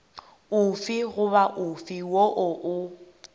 ofe goba ofe woo o